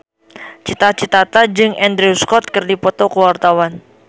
Cita Citata jeung Andrew Scott keur dipoto ku wartawan